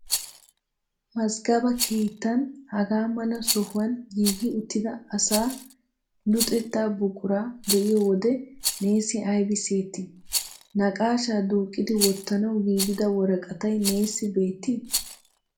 Mazggaba keettan haga mala sohuwan giigi uttida asaa luxettaa buquraa be'iyo wode neessi aybi siyettii? Naqaashaa duuqqidi wottanawu giigida woraqatay neessi beettii?